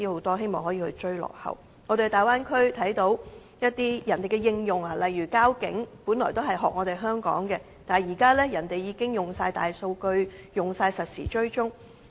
我們在大灣區看到人家的科技應用，例如交通警察，本來也是仿效香港的一套，但現時人家已全面採用大數據，實時追蹤。